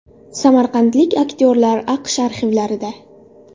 Samarqandlik aktyorlar AQSh arxivlarida .